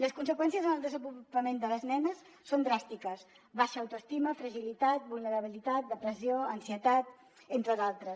les conseqüències en el desenvolupament de les nenes són dràstiques baixa au·toestima fragilitat vulnerabilitat depressió ansietat entre d’altres